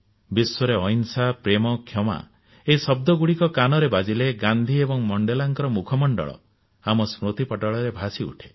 ବିଶ୍ୱରେ ଅହିଂସା ପ୍ରେମ କ୍ଷମା ଏହି ଶଦ୍ଦଗୁଡିକ କାନରେ ବାଜିଲେ ଗାନ୍ଧୀ ଏବଂ ମଣ୍ଡେଲାଙ୍କ ମୁଖମଣ୍ଡଳ ଆମ ସ୍ମୃତିପଟଳରେ ଭାସିଉଠେ